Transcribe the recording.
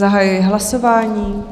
Zahajuji hlasování.